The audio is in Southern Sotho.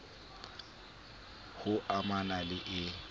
h o amana le e